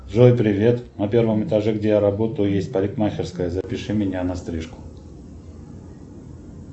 джой привет на первом этаже где я работаю есть парикмахерская запиши меня на стрижку